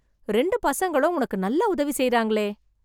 ரெண்டு பசங்களும் உனக்கு நல்லா உதவி செய்றாங்களே...